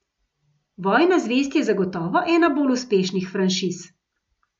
Vojna zvezd je zagotovo ena bolj uspešnih franšiz.